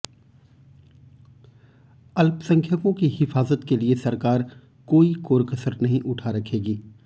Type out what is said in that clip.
अल्पसंख्यकों की हिफाजत के लिए सरकार कोई कोरकसर नहीं उठा रखेगी